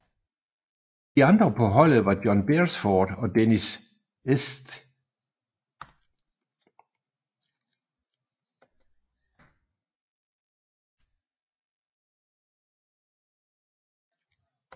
De andre på holdet var John Beresford og Denis St